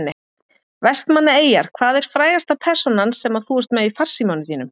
Vestmannaeyjar Hvað er frægasta persónan sem að þú ert með í farsímanum þínum?